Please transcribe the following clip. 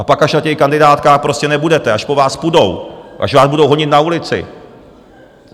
A pak až na těch kandidátkách prostě nebudete, až po vás půjdou, až vás budou honit na ulici...